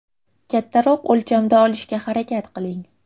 Kattaroq o‘lchamda olishga harakat qiling.